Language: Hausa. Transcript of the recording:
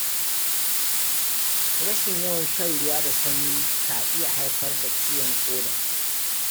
Rashin yawan shan ruwa da sanyi ka iya haifar da ciwon ƙoda.